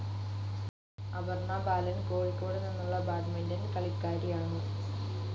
അപർണ ബാലൻ, കോഴിക്കോദുനിന്നുള്ള ബാഡ്മിന്റൺ കാളിക്കാരിയാണു.